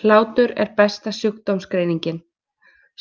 Hlátur er besta sjúkdómsgreiningin,